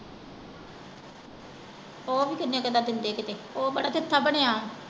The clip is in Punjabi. ਉਹ ਵੀ ਕਿੰਨੇ ਕੁ ਦਿੰਦੇ ਕਿਤੇ ਉਹ ਬੜਾ ਚਥਾ ਬਣਿਆ।